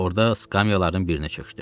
Orda skamyaların birinə çökdüm.